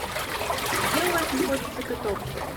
а где у вас находится каток